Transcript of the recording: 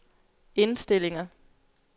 indstillinger